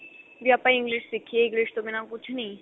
ਵੀ ਆਪਾਂ English ਸਿੱਖੀਏ English ਤੋ ਬਿਨ੍ਹਾਂ ਕੁੱਝ ਨੀ